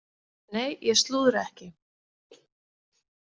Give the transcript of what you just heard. Nei, ég slúðra ekki.